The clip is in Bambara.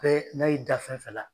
n'a y'i da fɛn fɛn la